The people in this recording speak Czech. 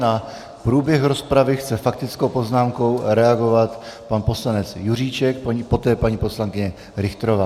Na průběh rozpravy chce faktickou poznámkou reagovat pan poslanec Juříček, poté paní poslankyně Richterová.